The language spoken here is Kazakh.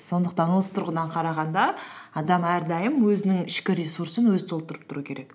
сондықтан осы тұрғыдан қарағанда адам әрдайым өзінің ішкі ресурсын өзі толтырып тұру керек